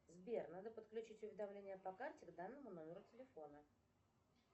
сбер надо подключить уведомление по карте к данному номеру телефона